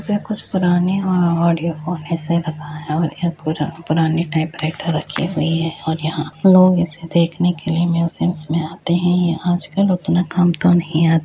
यहाँ कुछ पुराने और ऑडियो फोन ऐसे रखा है और यह पुरा पुराने टाइपराइटर रखे हुई हैं और यहाँ लोग इसे देखने के लिए म्यूजियम्स में आते हैं। यहाँ आजकल उतना काम तो नहीं आ --